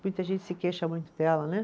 Muita gente se queixa muito dela, né?